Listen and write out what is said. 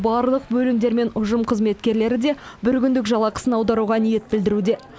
барлық бөлімдер мен ұжым қызметкерлері де бір күндік жалақысын аударуға ниет білдіруде